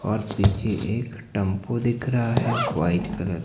और पीछे एक टेंपो को दिख रहा है व्हाइट कलर --